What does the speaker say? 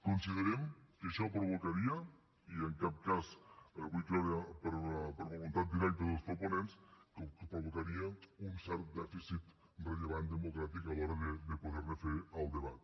considerem que això provocaria i en cap cas vull creure per voluntat directa dels proponents un cert dèficit rellevant democràtic a l’hora de poder ne fer el debat